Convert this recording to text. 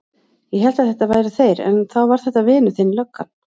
Ég hélt að þetta væru þeir áðan en þá var þetta vinur þinn löggan.